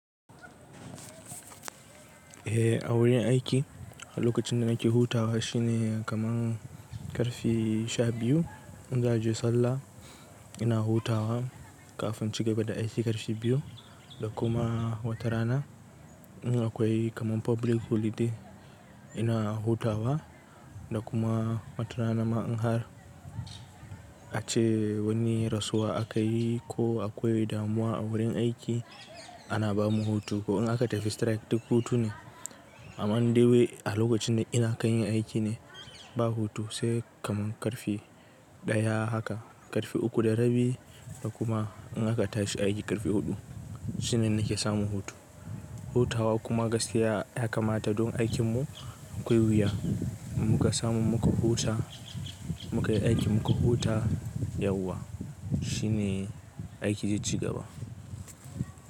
Eh, a wurin aiki lokacin da nake hutawa shine kaman karfe sha biyu. In za je sallah ina hutawa kafin cigaba da aiki karfe biyu da kuma watarana. In akwai kaman public holiday ina hutawa da kuma watarana. Ma in har a ce wani rasuwa akayi ko akwai damuwa a wurin aiki ana bamu hutu. Ko in aka tafi strike duk hutu ne. Amma in dai wai a lokacin da ina kan yi aiki ne ba hutu sai kaman karfe ɗaya haka, karfe uku da rabi da kuma in aka tashi aiki karfe huɗu shine nake samun hutu. Hutawa kuma gaskiya ya kamata don aikinmu akwai wuya. Mu ka samu mu ka huta, mu ka yi aiki mu ka huta yauwa shine aiki zai cigaba.